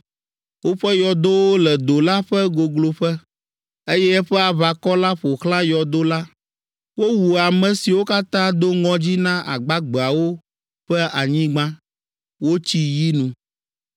Woƒe yɔdowo le do la ƒe gogloƒe, eye eƒe aʋakɔ la ƒo xlã yɔdo la. Wowu ame siwo katã do ŋɔdzi na agbagbeawo ƒe anyigba, wotsi yi nu.